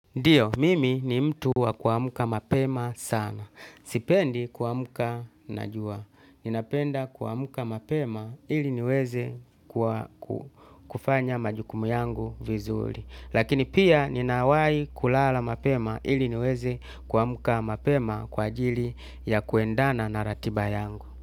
Ndiyo, mimi ni mtu wa kuamuka mapema sana. Sipendi kuamuka najua. Ninapenda kuamuka mapema ili niweze kufanya majukumu yangu vizuli. Lakini pia ninawai kulala mapema ili niweze kuamuka mapema kwa ajili ya kuendana na ratiba yangu.